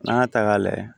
N'an y'a ta k'a lajɛ